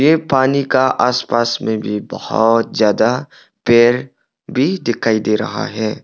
ये पानी का आसपास में भी बहुत ज्यादा पेड़ भी दिखाई दे रहा है।